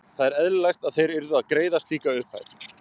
Það er eðlilegt að þeir yrðu að greiða slíka upphæð.